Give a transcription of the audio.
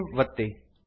save ಒತ್ತಿ